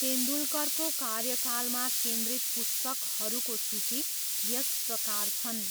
तेन्दुलकरको कार्यकालमा केन्द्रित पुस्तकहरूको सूची यस प्रकार छन्।